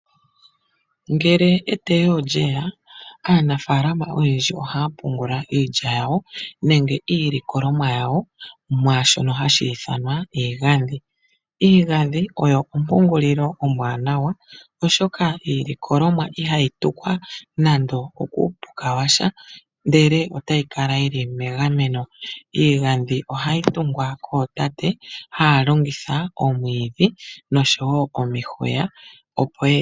Eteyo ngele olyea, aanafalama oyendji ohaya pungula iilya yawo nenge iilikolomwa yawo, mwaashoka hashi ithanwa egadhi. Iigadhi oyo oompungulilo ombwanawa oshoka iilikolomwa ihayi tukwa nando kuupuka washa ndele otayi kala yili megameno. Iigadhi ohayi tungwa kootate taya longitha oomwidho osho woo omihuya.